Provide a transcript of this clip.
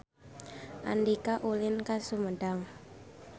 Andika ulin ka Sumedang